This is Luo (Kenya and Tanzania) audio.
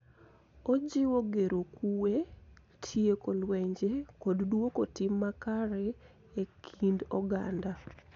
Ojiwo gero kuwe, tieko lwenje, kod duoko tim makare e kind oganda.